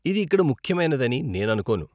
ఇది ఇక్కడ ముఖ్యమైనదని నేను అనుకోను.